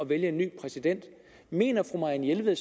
valgte en ny præsident mener fru marianne jelved